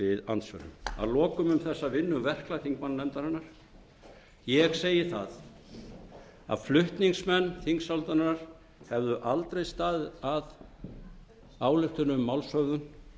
andsvörum að lokum um þessa vinnu verklags þingmannanefndarinnar ég segi að flutningsmenn þingsályktunartillögunnar hefðu aldrei staðið að ályktun um málshöfðun